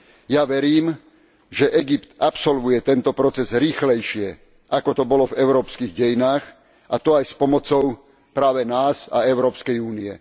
Ja verím, že Egypt absolvuje tento proces rýchlejšie, ako to bolo v európskych dejinách, a to aj s pomocou práve nás a Európskej únie.